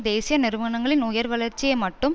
தேசிய நிறுவனங்களின்உயர் வளர்ச்சியை மட்டும்